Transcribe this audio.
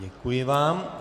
Děkuji vám.